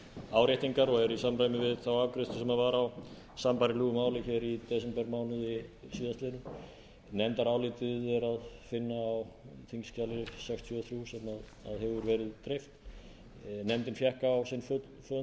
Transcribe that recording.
áréttingar og er í samræmi við þá afgreiðslu sem var á sambærilegu máli hér í desembermánuði síðastliðnum nefndarálitið er að finna á þingskjali sextíu og þrjú sem hefur verið dreift nefndin fékk á sinn fund ingva